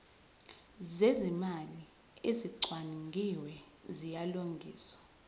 zezimali ezicwaningiwe ziyalungiswa